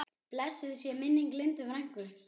Blessuð sé minning Lindu frænku.